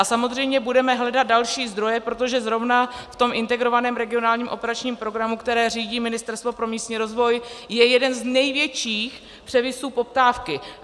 A samozřejmě budeme hledat další zdroje, protože zrovna v tom Integrovaném regionálním operačním programu, který řídí Ministerstvo pro místní rozvoj, je jeden z největších převisů poptávky.